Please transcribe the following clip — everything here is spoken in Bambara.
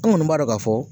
An kɔni b'a dɔn ka fɔ